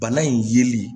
Bana in yeli